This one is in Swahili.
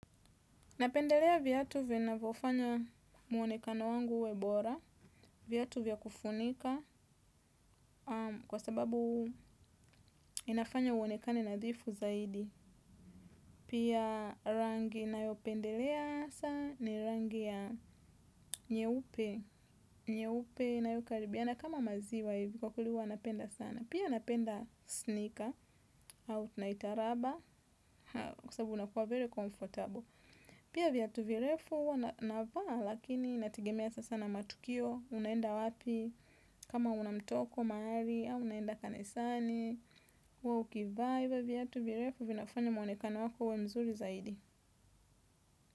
Napendelea viatu vinavofanya muonekano wangu uwe bora. Viatu vya kufunika kwa sababu inafanya uonekane nadhifu zaidi. Pia rangi ninayopendelea sana ni rangi ya nyeupe. Nyeupe inayokaribiana kama maziwa hivi kwa kweli huwa napenda sana. Pia napenda sneaker au tunaita raba kwa sababu unakuwa very comfortable. Pia vyatu virefu huwa navaa lakini inategemea sasa na matukio. Unaenda wapi kama una mtoko mahali au unaenda kanisani uwe ukivaa hivyo vyatu virefu vinafanya mwonekano wako uwe mzuri zaidi.